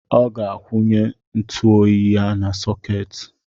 Ọ ga-akwụnye ntụoyi ya na sọketi.